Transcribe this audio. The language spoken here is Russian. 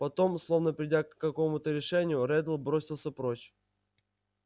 потом словно придя к какому-то решению реддл бросился прочь